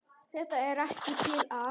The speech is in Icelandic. Þetta er ekkert til að.